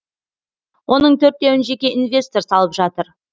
оның төртеуін жеке инвестор салып жатыр